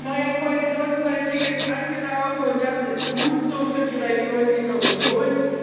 Die neue Kohäsionspolitik ist angelaufen, und das ist gut so für die Regionen dieser Union.